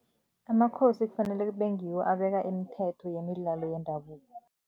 Amakhosi kufanele kube ngiwo abeka imithetho yemidlalo yendabuko.